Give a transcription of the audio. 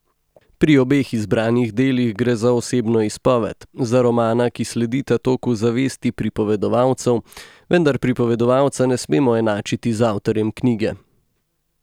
Pri obeh izbranih delih gre za osebno izpoved, za romana, ki sledita toku zavesti pripovedovalcev, vendar pripovedovalca ne smemo enačiti z avtorjem knjige.